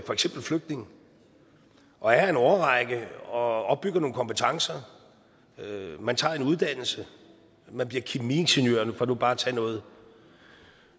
for eksempel flygtning og er her en årrække og opbygger nogle kompetencer man tager en uddannelse man bliver kemiingeniør for nu bare at tage noget